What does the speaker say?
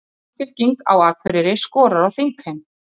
Samfylking á Akureyri skorar á þingheim